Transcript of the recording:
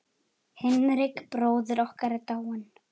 Hinrik bróðir okkar er dáinn.